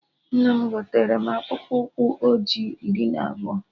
Nna m gotere mụ akpụkpụ ụkwụ ọjị iri na abụọ